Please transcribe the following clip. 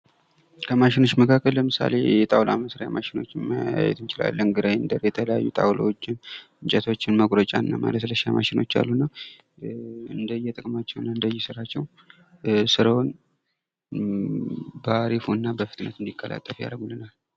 ከማሽኖች መካከል ለምሳሌ፡- የጣውላ መስሪያ ማሸኖችን ማየት እንችላለን ፤ የተለያዩ ጣውላዎችን፥ እንጨቶችን መቁረጫና ማለስለሻ ማሸኖች አሉና እንደየጥቅማቸውና እንደየስራቸው ስራውን ባህሪፉ እና በፍጥነት እንዲቀላጠፍ ያደርጉልናል።